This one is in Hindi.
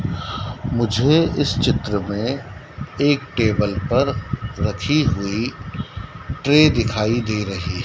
मुझे इस चित्र में एक टेबल पर रखी हुई ट्रे दिखाई दे रही--